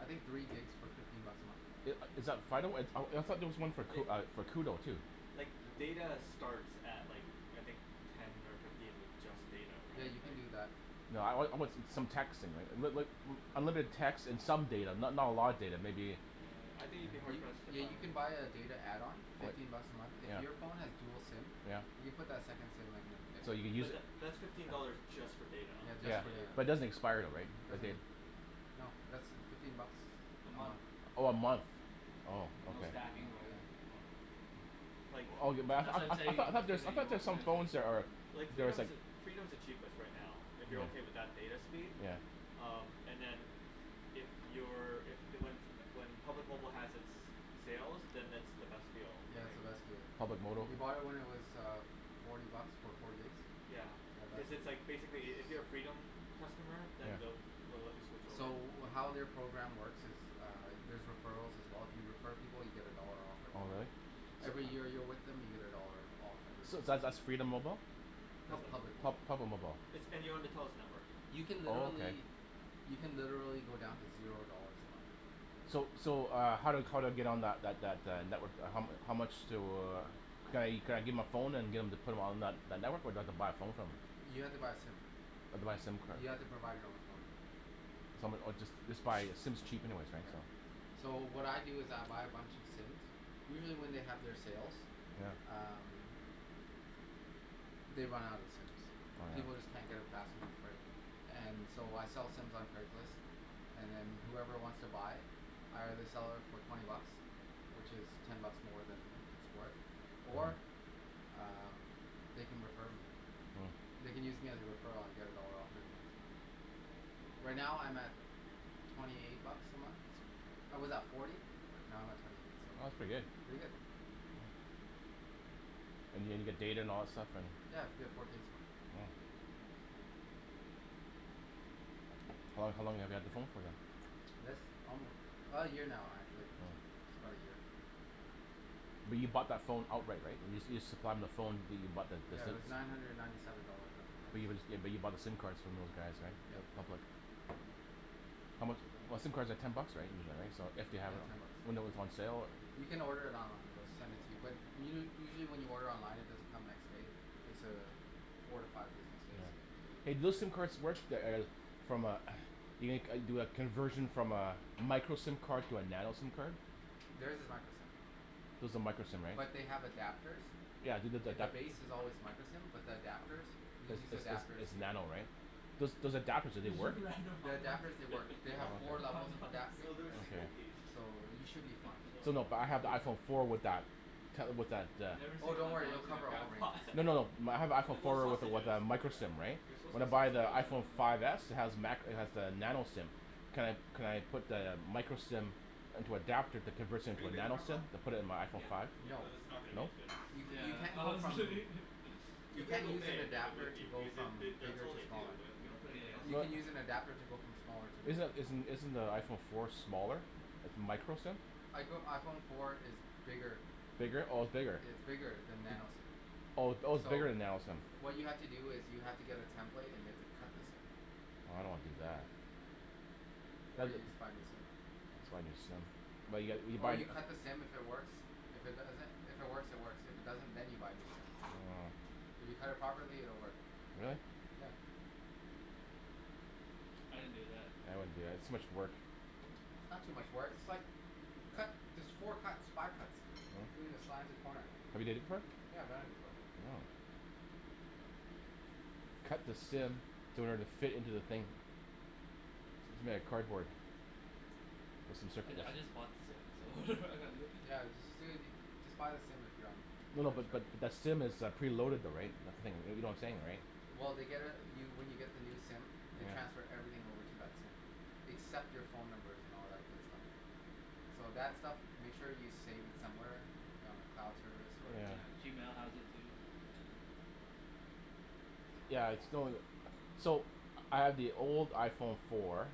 I think three gigs for fifteen bucks a month Is is that Fido? Uh I thought there was one Like uh for Koodo too? like data starts at like I think ten or fifteen with just data Yeah right you can like do that No I I want some texting right, but but unlimited text and some data, not not a lot of data maybe Yeah, I think you'd be hard You pressed to yeah find you can buy a data add-on fifteen bucks a month. If Yeah your phone has dual SIM Yeah you can put that second SIM in So there you use But tha- that's fifteen dollars just for data Yeah just Yeah, for data but it Yeah doesn't expire right, the Doesn't data? No that's fifteen bucks A month um Oh a month. Oh, And no ok. Hmm stacking or anything Like I That's what I'm I I saying thought there's I thought there's some phone that are Like there's Freedom's like the, Freedom's the cheapest right now if you're okay with that data speed, Yeah um, and then if you're, if, the when when Public Mobile has it's sale then it's the best deal I That's think the best deal Public mobile Did you buy it when it was uh forty bucks for four gigs? Yeah. Yeah that's Cuz the it's like one basically if you're a Freedom customer then Yeah they'll they'll let you switch over. So how their program works is Uh there's referrals as well, if you refer people you get a dollar off Oh every month really? Every year you're with them you get a dollar off every So month that's that's Freedom Mobile? No it's Public. Public Pub- Mobile Public Mobile. It's, and you're on the Telus network You can Oh okay. literally you can literally go down to zero dollars a month. So so uh how how do I get on that that that network, how mu- how much do, could I could I give my phone and get em to put on that that network or do I haffa buy a phone from them? You have to buy a SIM, I have to buy a SIM card. you have to provide your own phone. Some or just just buy a SIM's cheap anyways. So what I do is I buy a bunch of SIMs, usually when they have their sales, Yeah um They run out of SIMs, Oh people just yeah. can't get them fast enough And so I sell SIMs on Craigslist And then whoever wants to buy I either sell it for twenty bucks which is ten buck more than it's worth or um they can refer me. Hmm They can use me as a referral and I get a dollar off every month Right now I'm at twenty eight bucks a month, I was at forty but now I'm at twenty eight so, pretty good. And and you get data and all that stuff and? Yeah, I get four gigs now Hmm How how long have you had the phone for than? This um now actually, Hmm about a year But you bought that phone outright, right? You you supplied them the phone but you you bought the SIM Yeah it card. was nine hundred and ninety seven dollars at the time But but you bought the SIM cards from those guys right? Yeah How mu- , but SIM cards are ten bucks right. Yeah it's ten bucks When they were on sale. You can order it online they'll send it to you. But u- u- usually when you order online it doesn't come next day, it's a four to five business days. Yeah Hey do those SIM cards work, the eh, from a eh, you make you do a conversion from a micro SIM card to a nano SIM card? There's is micro SIM Those are micro SIM right? But they have adapters Yeah, they look like The that base is always micro SIM but the adapters, you can It's use the it's adapters it's here nano right? Those those adapters do they work? The adapters they work, they have Hmm? four levels of Ah. adapting No there's I think Okay. so you should be fine So no but I have iPhone four with that Never Oh seen don't worry they'll in a cover crab all ranges pot No no no, my I have No, iPhone they're four with with sausages, a micro they're SIM right, they're suppose to when be I buy the sausages IPhone five s it has macro, it has the nano SIM, can could I put the micro SIM into adapter that converts it Have into you a been to nano SIM and put it into my iPhone five? Yeah, No though this is not gonna be as No? good. You Yeah. you can't go I'm from, kidding you If we have can't a move an then it adapter would to be, go because they from that's that's bigger all they to do, smaller they don't put anything else You in can use an there. adapter to go from smaller to Is bigger isn't isn't the iPhone four smaller, it's micro SIM? I go iPhone four is bigger Bigger, oh it's bigger? It's bigger than nano SIM Oh oh its So bigger than nano SIM? what you have to do is you have to get a template and you have to cut the SIM I don't wanna do that. Or That'll you just buy a new SIM Just buy a new SIM But you gotta, you Or buy you cut the SIM if it works, if it doesn't if it works it works, if it doesn't then you buy a new SIM Oh If you cut it properly it will work Will it? I didn't do that. I wouldn't do that, it's too much work. It's not too much work, it's like you cut there's four cuts five cuts Hmm the corner Have you did it before? Yeah I've done it before Oh. Cut the SIM to order it to fit into the thing It's made out of cardboard. Some sort I of I just bought the SIM, so Yeah you ju- you No no but just but SIM is uh preloaded though right, that's the thing, you know what I'm saying right? Well they get uh you when you get the new SIM they transfer everything over to that SIM except your phone numbers and all that good stuff. So that stuff, make sure you save it somewhere if you're on a cloud service or Yeah, Yeah. Gmail has it too. Yeah, it's So, I have the old iPhone four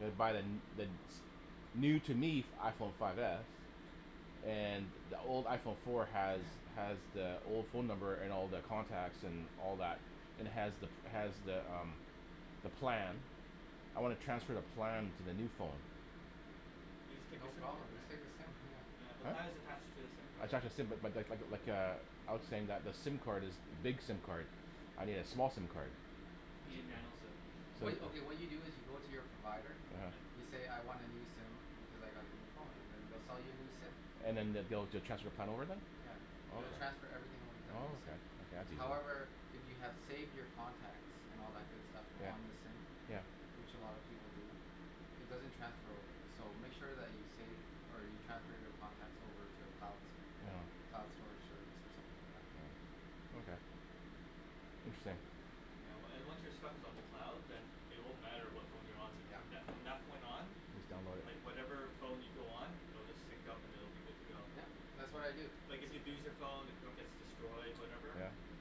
and I buy the n- the new, to me, f- iPhone five s, and the old iPhone four has, has the old phone number and all the contacts and all that and has the, has the umm the plan. I wanna transfer the plan to the new phone. You just take your No SIM card, problem, just right? take the SIM yeah. Yeah, the plan is attached to the SIM I card. tried to [inaudible 0:30:35.01 - 0:30:35.49] but- but- lik- lik- like a, I was saying that the SIM card is big SIM card. I need a small SIM card. You need nano SIM. What you, okay, what you do is you go to your provider. Mhmm. You say, "I want a new SIM because I got a new phone" and then they'll sell you a new SIM. And then they'll be able to transfer plan over then? Yeah. They will Oh. transfer everything over to that Oh new SIM. okay. Yeah, that's easy. However, if you have saved your contacts and all that good stuff Yeah. on the SIM, Yeah. which a lot of people do, it doesn't transfer over. So make sure that you save, or you transfer your contacts over to a cloud, cloud store service or something like that. Okay Interesting. Yeah, wa- and once your stuff is on the cloud, then it won't matter what phone you're on with, from Yeah. that, from that point on Just download it. like whatever phone you go on it'll just sync up and it'll be good to go. Yep. That's what I do. Like if you lose your phone, your phone gets destroyed, whatever.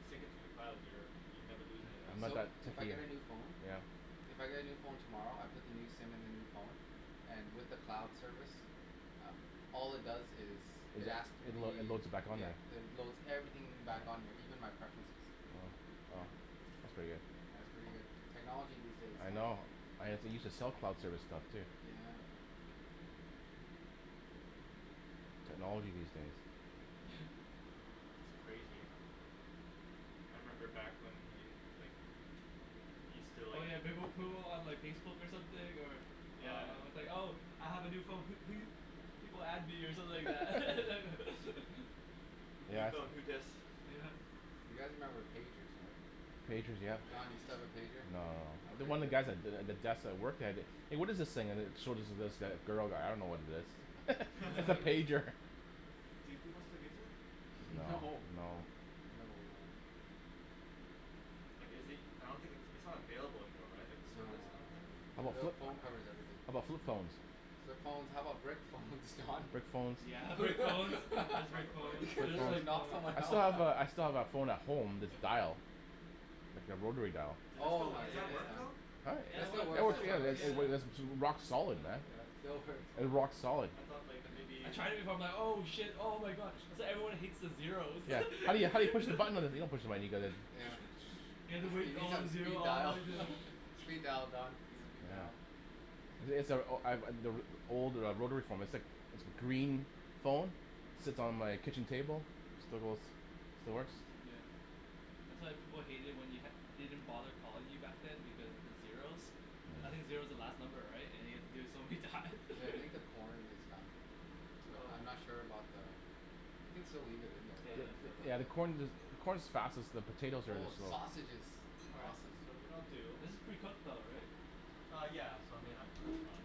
Sync it to the cloud and you're, you'd never lose anything. So, if I get a new phone Yeah. If I get a new phone tomorrow, I put the new SIM in the new phone, and with the cloud service, uh all it does is, it asks It load, me, it loads back on yeah, there. it loads everything back on here, even my preferences. Uh. Oh. That's pretty good. Yeah, it's pretty good. Technology these days, I Don. know. I have to use a self-cloud service stuff, too. Yeah. Technology these days. It's crazy. I remember back when we, like, we still Oh like yeah, they will put it on like Facebook something or Yeah. uh, it's like, "Oh I have a new phone pe- pe- people add me" or something like that. New Yeah. phone You guys remember pagers right? Pagers, yeah. Don, you still have a pager? No. Okay, One of good. the guys at the, at the desk I worked at it, "Hey, what is this thing?" and then it showed it to this g- girl, like, "I don't know what it is." It's a pager. Do people still use it? No, No. no. No, no. Like is it, I don't think its, it's not available anymore, right? Like No, no, no, no. service, I don't Your think? phone covers everything. How about flip phones? Flip phones. How about brick phones, Don? Brick phones. You're Brick phones and Soccer flip player phones. They're just, gonna like, knock phones. someone I still have out. a, I still have that phone at home that's dial. Oh So, my Ai does ya that goodness, work ya. man. though? It still [inaudible works, it still works. 0:32:42.56 - 0:32:43.83] rock solid man. Yeah, still works. Uh, rock solid. I thought like, maybe I tried it before. I'm like, "Oh shit, oh my god. That's why everyone hates the zeros." Yeah. How you, how you push the button? Like, you don't push the button, you go like this. Yeah. You need some speed dial. Speed dial Don, speed dial. Yeah. [inaudible 0:32.59.28 - 0:33:00.74] old uh rotary phone. It's like, it's a green phone, sits on my kitchen table. Still goes, still works. Yeah. That's why people hated it when you had- didn't bother calling you back then because of the zeros. I think Mm. zero's the last number, right? And you have to do it so many times. Hey, I think the corn is done. But I'm not Oh. sure about the We can still leave it in there, Potato. Yeah, the right? corn i- the corn's fastest, the potatoes are Oh the slowest. sausages. All right. Awesome. So what I'll do This is pretty cooked though, right? Uh yeah. So I mean that, that's fine.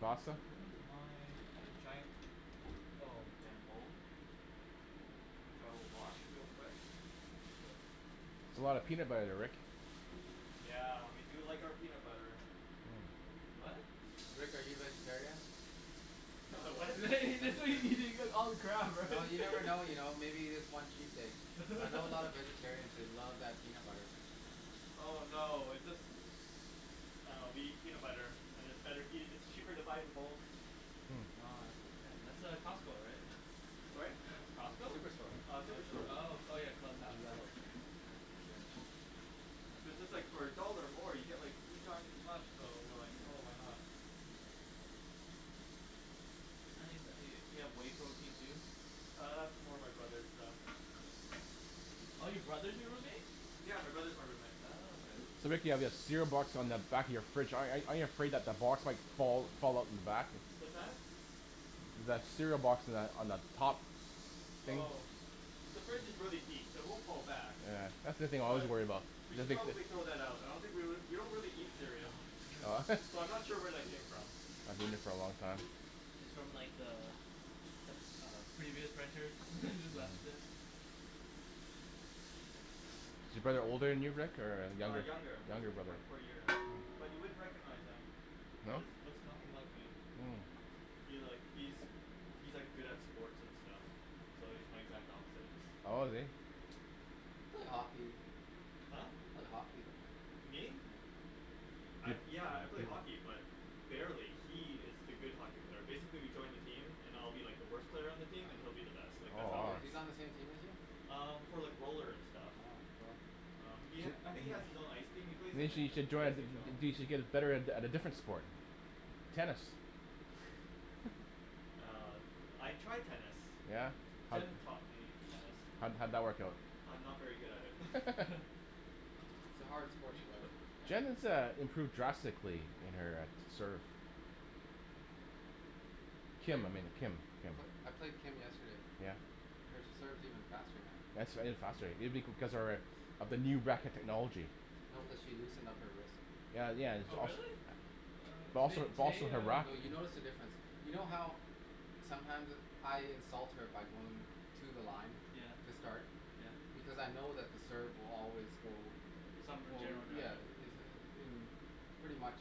pasta? Where's my, I had a giant, oh. Giant bowl? Bowl, which I will wash real quick. That's a lot of peanut butter, Rick. Yeah, we do like our peanut butter. What? Rick, are you a vegetarian? Am I what? He just said he, he's gonna eat all the crab, right? Well, you never know you know. Maybe you just want cheat days. I know a lot of vegetarians, they love that peanut butter. Oh no, it's just, uh, we eat peanut butter, and it's better eat- and it's cheaper to buy it in bulk. Oh I see. That's uh, Costco, right? Sorry? It's Costco? Superstore. Uh, Superstore. Oh [inaudible 0:34:06.91 - Yellow. 0:34:08.08] So just like for a dollar more, you get, like, three times as much, so we're like, "Oh, why not." You have whey protein too? Uh, that's more my brother's stuff. Oh your brother's your roommate? Yeah. My brother's my roommate. Oh, okay. So Rick, you have that cereal box on the back of your fridge. ar- aren't you afraid that the box might fall, fall off the back? What's that? That cereal box on that, on the top. Oh. The fridge is really deep, so it won't fall back. Yeah. That's the thing I always worry about. We should probably throw that out. I don't think we l- we don't really eat cereal. Oh So, I'm not sure where that came from. It's from like the, the- uh previous renters who just left it. Is your brother older than you, Rick, or, uh Uh, younger? younger, Younger by brother. four year. But you wouldn't recognize him. He No? looks, looks nothing like me. He like, he's, he's like good at sports and stuff. So he's my exact opposite. Oh, is he? You play hockey. Huh? You play hockey though. Me? I, yeah, I play hockey but barely, He is the good hockey player. Basically, we joined a team, and I'll be like the worst player on the team and he'll be uh-huh. the best. Like that's how it Oh, works. he's on the same team as you? Um, for like roller and stuff. Oh, bro. Um, he ha- I think he has his own ice team. He plays in you it. should join a, y- y- you should get better at, at a different sport. Tennis. Uh. I tried tennis. Yeah? How'd Jenn taught me tennis. How'd, how'd that work out? I'm not very good at it. It's a hard sport to learn. Jenn has, uh, improved drastically in her, uh, serve. Played, I played, I played Kim yesterday. Yeah? Her serve's even faster now. faster maybe because of her, uh, of the new racket technology. No, cuz she loosened up her wrist. Well, yeah. It's Oh also really? It also, Today, it's also today her uh No, racket. you notice the difference. You know how sometimes I insult her by going to the line, Yeah. to start Yeah. because I know that the serve will always go, Some in well general yeah, direction. is uh. Pretty much.